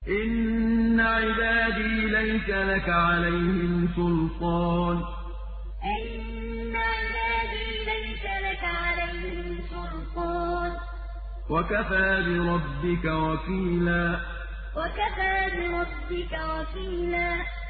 إِنَّ عِبَادِي لَيْسَ لَكَ عَلَيْهِمْ سُلْطَانٌ ۚ وَكَفَىٰ بِرَبِّكَ وَكِيلًا إِنَّ عِبَادِي لَيْسَ لَكَ عَلَيْهِمْ سُلْطَانٌ ۚ وَكَفَىٰ بِرَبِّكَ وَكِيلًا